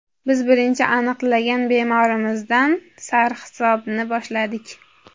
Biz birinchi aniqlagan bemorimizdan sarhisobni boshladik.